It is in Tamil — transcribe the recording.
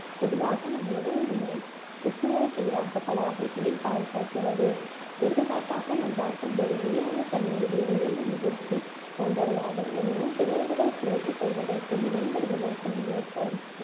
பொதுவாக, நம் உடல் நம்மை புற்றுநோய்க்கெதிராக பல வகைகளில் பாதுகாக்கிறது. எடுத்துக்காட்டாக நாம் பார்க்குபோது உயிரணு தன்மடிவு, உயிரணு முதிர்ச்சி போன்றவையாகும். எனினும், பிறழ்வுகள் பிழைத்துக் கொள்வதற்கும், மேம்படுவதற்கும் ஏற்ற